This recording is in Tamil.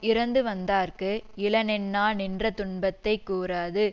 இரந்துவந்தார்க்கு இலனென்னா நின்ற துன்பத்தை கூறாது